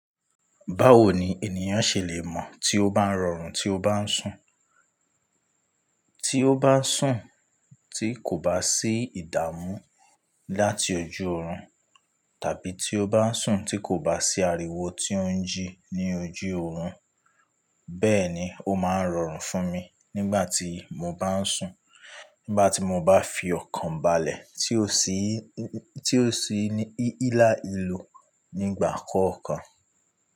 Báwo ni ènìyàn ṣe lè mọ̀ tí ó bá ń rọrùn tí ó bá ń sùn? Tí ó bá ń sùn tí kò bá sí ìdààmú láti ojú oorun tàbí tí ó bá ń sùn tí kò bá sí ariwo tí ó ń jí ní ojú oorun. Bẹ́ẹ̀ ni, ó máa ń rọrùn fún mi nígbà tí mo bá ń sùn nígbà tí mo bá fi ọkàn balẹ̀ tí ó ṣí, tí ó ṣí ní hílàhílo nígbà kọ̀ọ̀kan.